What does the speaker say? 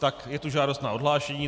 Tak je tu žádost na odhlášení.